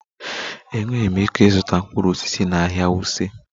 Enweghị m ike ịzụta mkpụrụ osisi na ahịa wuse